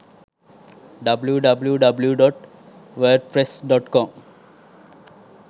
www.wordpress.com